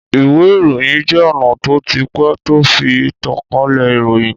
Ìwé ìròyìn je ona tó ti pé tó fi tánkalẹ ìròyìn.